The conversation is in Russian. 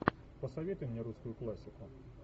посоветуй мне русскую классику